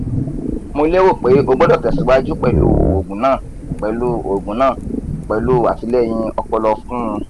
mo lero pe o gbodo tesiwaju pelu oogun na pelu oogun na pelu atileyin opolo fun un